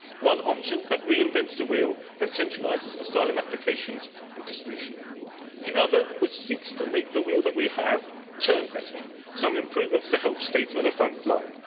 One option that reinvents the wheel and centralises asylum applications and distribution. The other, which seeks to make the wheel that we have turn better, offers some improvements to help states on the front line.